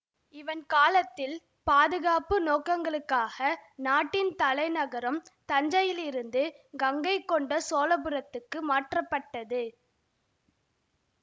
இவன் காலத்தில் பாதுகாப்பு நோக்கங்களுக்காக நாட்டின் தலை நகரம் தஞ்சையிலிருந்து கங்கைகொண்ட சோழபுரத்துக்கு மாற்றப்பட்டது